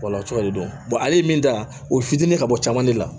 Wala o cogo de don ale ye min da o fitini ka bɔ caman de la